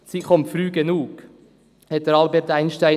Sie kommt früh genug.» sagte einmal Albert Einstein.